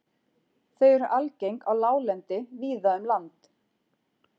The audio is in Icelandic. Þau eru algeng á láglendi víða um land.